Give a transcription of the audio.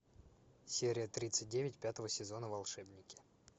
серия тридцать девять пятого сезона волшебники